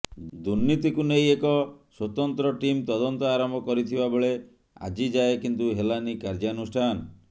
ଦୁର୍ନୀତିକୁ ନେଇ ଏକ ସ୍ବତନ୍ତ୍ର ଟିମ୍ ତଦନ୍ତ ଆରମ୍ଭ କରିଥିବା ବେଳେ ଆଜି ଯାଏଁ କିନ୍ତୁ ହେଲାନି କାର୍ଯ୍ୟାନୁଷ୍ଠାନ